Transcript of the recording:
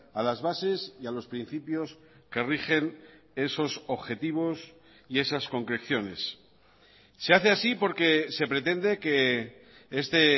a las bases y a los principios que rigen esos objetivos y esas concreciones se hace así porque se pretende que este